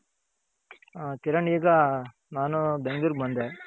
ಹ ಕಿರಣ್ ಈಗ ನಾನು ಬೆಂಗಳೂರ್ಗ್ ಬಂದೆ.